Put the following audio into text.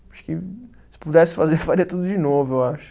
Acho que se pudesse fazer, faria tudo de novo, eu acho.